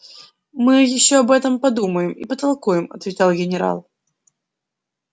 мы ещё об этом подумаем и потолкуем отвечал генерал